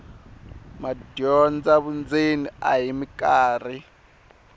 madyondza vundzeni a hi mikarhi